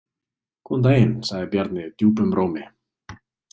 Góðan daginn, sagði Bjarni djúpum rómi.